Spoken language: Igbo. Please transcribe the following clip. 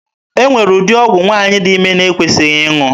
E nwere ụdị ọgwụ nwaanyị dị ime na-ekwesịghị aṅụ.